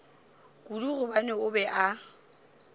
kudu gobane o be a